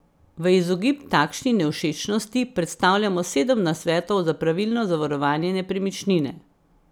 V izogib takšni nevšečnosti predstavljamo sedem nasvetov za pravilno zavarovanje nepremičnine.